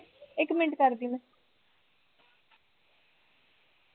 ਇੱਕ ਮਿੰਟ ਕਰਦੀ ਮੈਂ